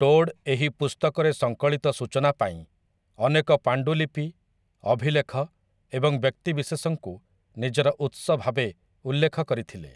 Todd ଏହି ପୁସ୍ତକରେ ସଂକଳିତ ସୂଚନା ପାଇଁ ଅନେକ ପାଣ୍ଡୁଲିପି, ଅଭିଲେଖ ଏବଂ ବ୍ୟକ୍ତିବିଶେଷଙ୍କୁ ନିଜର ଉତ୍ସ ଭାବେ ଉଲ୍ଲେଖ କରିଥିଲେ ।